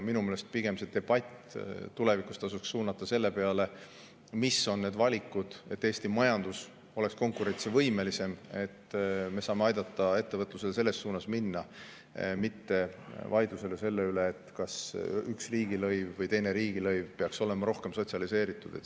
Minu meelest pigem tasuks debatt tulevikus suunata selle peale, mis on need valikud, et Eesti majandus oleks konkurentsivõimelisem, ja kuidas me saame aidata ettevõtlusel selles suunas minna, mitte vaidlusele selle üle, kas üks või teine riigilõiv peaks olema rohkem sotsialiseeritud.